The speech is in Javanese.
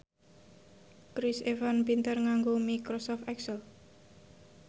Chris Evans pinter nganggo microsoft excel